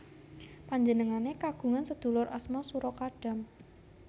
Panjenengane kagungan sedulur asma Sura Kadam